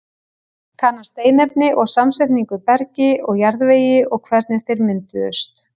Kanna steinefni og samsetningu í bergi og jarðvegi og hvernig þeir mynduðust.